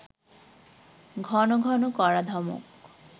ঘন ঘন কড়া ধমক…